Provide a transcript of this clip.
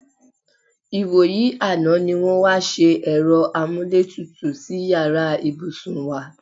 Ìwòyí àná ní wó̩n wá s̩e è̩ro̩ amúlétutù sí yàrá ìbùsùn wa.-